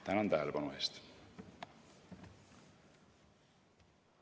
Tänan tähelepanu eest!